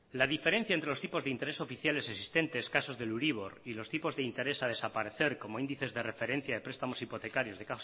la diferencia entre los tipos de interés oficiales existentes casos del euribor y los tipos de interés a desaparecer como índices de referencia de prestamos hipotecarios de